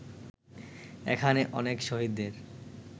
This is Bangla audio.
এখানে অনেক শহীদের